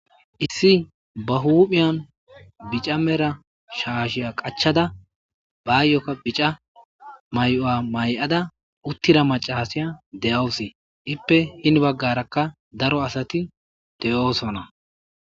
Issi ba huphiyan bicha mala shashiya qachada bayoka bica mayuwa mayada uttida macasiya de'awus, ipe hinbagaraka daro macasat de'osona.